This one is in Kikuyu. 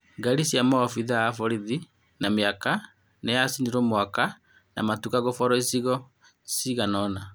Ngari cia maobithaa a borithi na mĩaka nĩ yacinirwo mwaki na matuka kũborwo icigo-inĩ cigana-ona.